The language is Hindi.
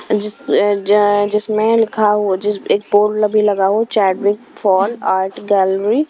जिस अह जै जिसमें लिखा हो जिस एक बोर्ड भी लगा हो chat with fall art gallery.